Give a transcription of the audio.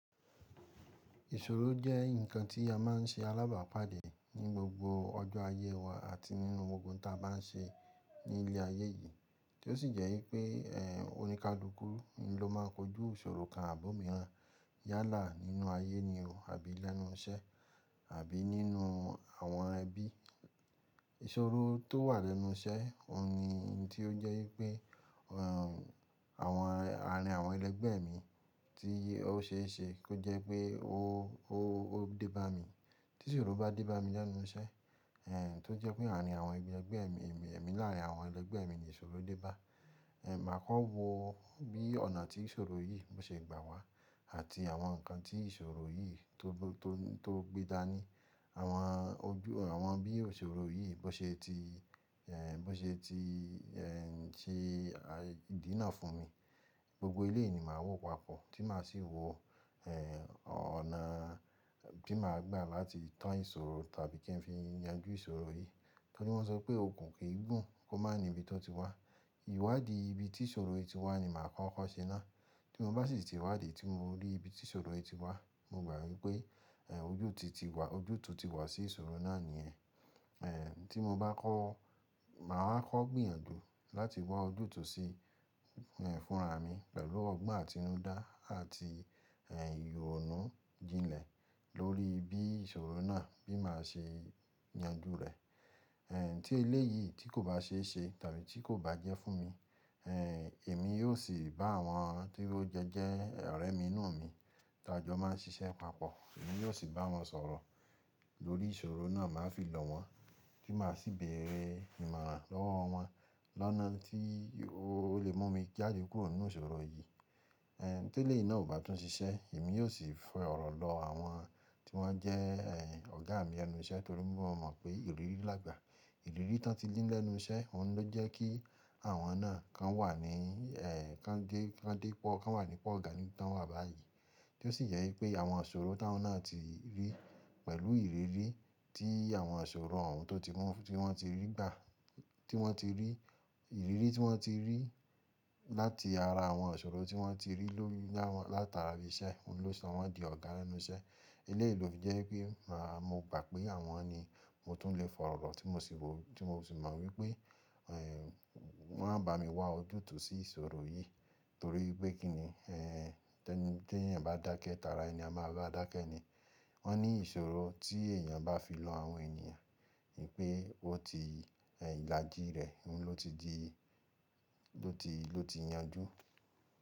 Ìṣòro jẹ́ ǹkan tí a má n ṣe alábàápàdé ní gbogbo ọjọ́ ayé wa àti nínú ohun ta bá n ṣe ní ilé ayé yìí tí ó sì jẹ́ wípé, ẹ́ oníkálùúkú ni ló ma kojú ìṣòro kan àbò míràn yálà nínú ayé nì o àbí lẹ́nu iṣẹ́ àbí nínú àwọn ẹbí. Ìṣòro tó wà lẹ́nu iṣẹ́, òun ni tí ó jẹ́ wípé, ẹ́ àwọn ààrin àwọn ẹlẹgbẹ́ mi tí ó ṣe é ṣe kó jẹ́ pé ó, ó, ó dé bá mi. Tí ìṣòro bá dé bá mi lẹ́nu iṣẹ́, ẹ́ tó jẹ́ pé ààrin àwọn ẹgbẹ́ mi, èmi láàrin àwọn ẹlẹgbẹ́ mi ni ìṣòro dé bá, ẹ́ màá kọ́ wo bí ọ̀nà tí ìṣòro yìí ṣe gbà wá àti àwọn ǹkan tí ìṣòro yìí tó, tó, tó gbé dáa ní. Àwọn ojú, àwọn bí ìṣòro yìí bó ṣe ti, ẹ́ bó ṣe ti, ẹ́ ti dí iná fún mi. Gbogbo eléyi ni máa wò papọ̀ tí màá sì wo, ẹ́ ọ̀nà tí màá gbà láti tán ìṣòro tàbí kí n fi yanjú ìṣòro yìí. Torí wọ́n sọ pé òkun kì í gùn kó má ní ibi tó ti wá. Ìwádìí ibi tí ìṣòro yìí ti wá ni màá kọ́kọ́ ṣe ná. Tí mo bá sì ti wádìí tí mo rí ibi tí ìṣòro yìí ti wá, mo gbà wípé, ẹ́ ojútì ti wá, ojútùú ti wá sí ìṣòro náà nìyẹn. Tí mo bá kọ, máa kọ gbìyànjú láti wá ojútùú sí fún rami pẹ̀lú ọgbọ́n àtinúdá àti ìrònú jinlẹ̀ lórí bí ìṣòro náà bíi máa ṣé yanjú rẹ̀. Tí eléyìí tí kò báà ṣéṣe tàbí tí kò bá jẹ́ fún mi, èmi yíò sì bá àwọn tí o jọjẹ ọ̀rẹ́ mí ti a jọ máà n ṣiṣẹ́ papọ̀ yóò sì bá wọn sọ̀rọ̀ lórí ìṣòro náà, màá fi lò wọ́n tí màá sì bèèrè ìmọ̀ran lọ́wọ́ wọn lọ́nà tí ó lè mú mi jáde kúrò nínú ìṣòro yìí. Ẹ́ tí elé yìí náà ò bá tún ṣiṣẹ́, èmi yóò sì fi ọ̀rọ̀ lọ àwọn tí wọ́n jẹ́, ẹ́ ọ̀gá mi lẹ́nu iṣẹ́ torí mo mọ̀ pé ìrírí làgbà. Ìrírí tán ti ní lẹ́nu iṣẹ́, òun ló jẹ́ kí àwọn náà kan wà ní, ẹ́ kan dé, kan dé pọ̀, kan wà nípa ọ̀gá ni tán wà báyìí tí ó sì jẹ́ wípé àwọn ìṣòro táwọn náà ti rí pẹ̀lú ìrírí tí àwọn ìṣòro òun tó ti mu, tí wọ́n ti rí gbà, tí wọ́n ti rí, ìrírí tí wọ́n ti rí láti ara àwọn ìṣòro tí wọ́n ti rí lórí, látára ibi iṣẹ́, òun ló sọ wọ́n di ọ̀gá lẹ́nu iṣẹ́. Elé ì lò fì jẹ́ wípé, màá mo gbà pé àwọn ni mo tún lè fọ̀rọ̀ lọ tí mo sì wò, tí mo sì mọ̀ wípé, ẹ́ wọ́n á bá mi wá ojútùú sí ìṣòro yìí torí pé kí ni, ẹ́ tí èèyàn bá dákẹ́, tààrà èèyàn máa bá a dákẹ́ ni. Wọ́n ní ìṣòro tí èèyàn bá fi lọ àwọn ènìyàn pé ó ti, ẹ́ ìlàjì rẹ̀ ló ti di, ló ti, ló ti yanjú.